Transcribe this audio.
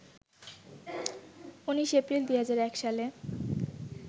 ১৯ April ২০০১ সালে